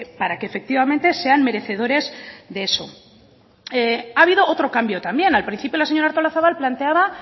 para que efectivamente sean merecedores de eso ha habido otro cambio también al principio la señora artolazabal planteaba